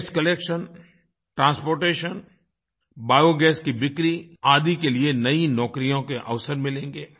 वास्ते collection transportation biogas की बिक्री आदि के लिए नई नौकरियों के अवसर मिलेंगे